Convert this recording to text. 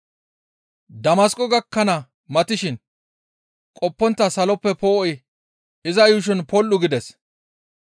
Damasqo gakkana matishin qoppontta saloppe poo7oy iza yuushon pol7u gides.